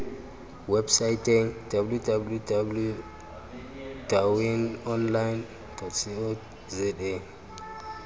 websaeteng www dawineonline co za